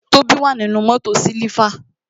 Tobi wà nínú mótò siliva